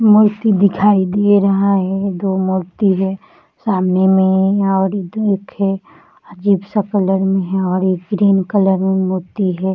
मूर्ति दिखाई दे रहा है दो मूर्ति है सामने में और अजीब -सा कलर में है और एक ग्रीन कलर में मूर्ति हैं।